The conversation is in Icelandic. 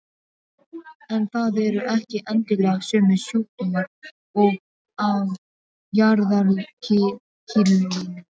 En það eru ekki endilega sömu sjúkdómar og á jarðarkrílinu.